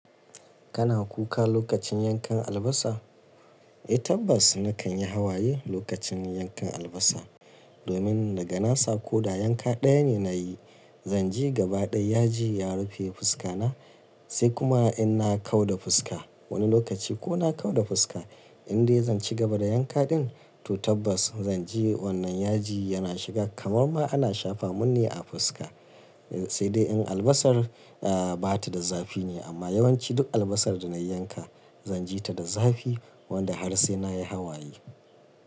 Kana kuka lokacin yankan albasa? Eh tabbas na kan yi hawaye lokacin yankan albasa. Domin daga nasa ko da yanka ɗaya ne na yi, zan ji gaba ɗaya yaji ya rufe fuska na. Sai kuma in na kau da fuska wani lokaci ko na kau da fuska, in dai zan ci gaba da yanka ɗin to tabbas zan ji wannan yaji yana shiga kamar ma ana shafa mun ne a fuska. Sai dai in albasar, eh ba ta da zafi ne amma yawanci duk albasar da na yanka zan ji ta da zafi wanda har sai na yi hawaye.